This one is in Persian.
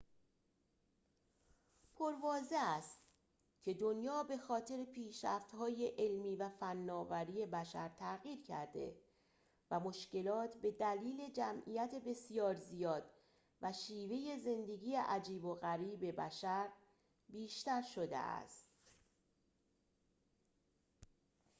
پرواضح است که دنیا به‌خاطر پیشرفت‌های علمی و فناوری بشر تغییر کرده و مشکلات به دلیل جمعیت بسیار زیاد و شیوه زندگی عجیب و غریب بشر بیشتر شده است